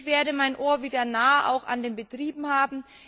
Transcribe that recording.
Ich werde mein Ohr wieder nah an den Betrieben haben.